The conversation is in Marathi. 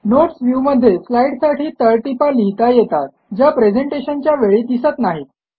नोट्स व्ह्यूमध्ये स्लाईडसाठी तळटीपा लिहिता येतात ज्या प्रेझेंटशनच्या वेळी दिसत नाहीत